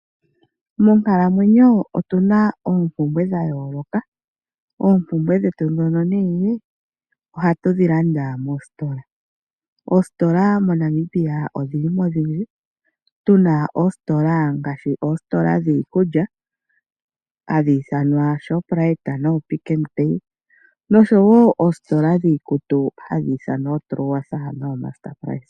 Monkalamwenyo otuna oompumbwe dha yooloka. Oompumbwe dhetu ndhono nee, ohatu dhi landa moostola. Oostola moNamibia odhili mo odhindji, tu na ostola dhiikulya ngaashi Shoprite nooPick N Pay nosho wo oostola dhiikutu ngaashi MR PRICE.